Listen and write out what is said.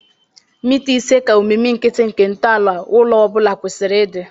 mita isii ka omimi nkịtị nke ntọala ụlọ obula kwesịrị ịdị